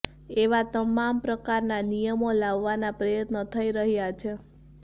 એવા તમામ પ્રકારના નિયમો લાવવાના પ્રયત્નો થઇ રહ્યા છે